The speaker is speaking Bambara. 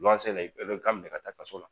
Luwanse bɛ bɛ bɛ ka minɛ ka taa kaso la